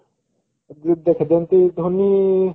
ଦେଖେ ଯେମିତି ଧୋନୀ